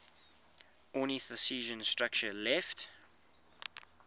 ornithischian structure left